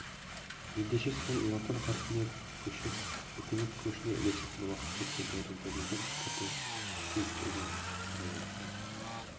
ендеше сол латын қарпіне көшіп өркениет көшіне ілесетін уақыт жеткен тәрізді деген пікірді сейітұлы қадай айтты